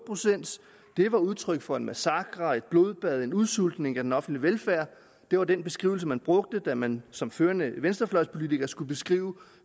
procent det var udtryk for en massakre et blodbad en udsultning af den offentlige velfærd det var den beskrivelse man brugte da man som førende venstrefløjspolitiker skulle beskrive